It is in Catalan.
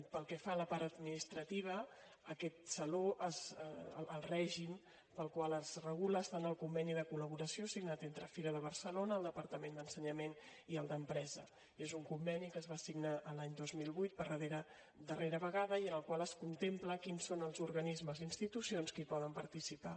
pel que fa a la part administrativa aquest saló el règim pel qual es regula està en el conveni de col·laboració signat entre fira de barcelona el departament d’ensenyament i el d’empresa és un conveni que es va signar l’any dos mil vuit per darrera vegada i en el qual es contempla quins són els organismes i institucions que hi poden participar